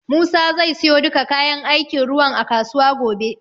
Musa zai siyo duka kayan aikin ruwan a kasuwa gobe.